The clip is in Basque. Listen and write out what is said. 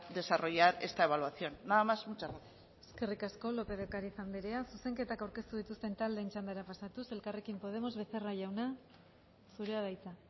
desarrollar esta evaluación nada más y muchas gracias eskerrik asko lópez de ocáriz andrea zuzenketak aurkeztu dituzten taldeen txandara pasatuz elkarrekin podemos becerra jauna zurea da hitza